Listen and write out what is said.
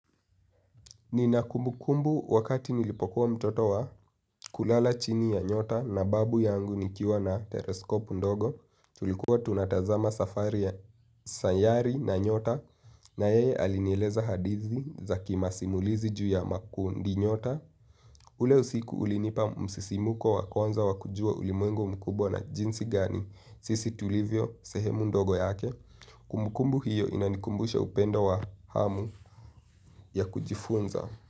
Nina kumbu kumbu wakati nilipokuwa mtoto wa kulala chini ya nyota na babu yangu nikiwa na tereskopu ndogo. Tulikuwa tunatazama safari ya sayari na nyota na yeye alinieleza hadithi za kimasimulizi juu ya makundi nyota. Ule usiku ulinipa msisimuko wakwanza wakujua ulimwengu mkubwa na jinsi gani sisi tulivyo sehemu ndogo yake. Kumbu kumbu hiyo inanikumbusha upendo wa hamu ya kujifunza.